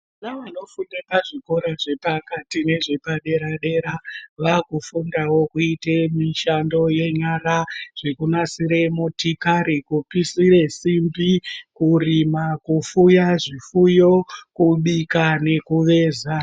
Vana vanofunda pazvikora zvepakati nezvepadera-dera vakufundawo kuita mishando yenyara zvekunasira motokari, kupisira simbi, kurima kufuya zvifuyo, kubika, nekuveza.